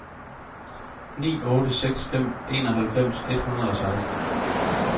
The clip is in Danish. ni otte seks fem enoghalvfems et hundrede og seksten